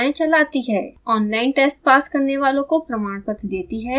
online test pass करने वालों को प्रमाणपत्र देती है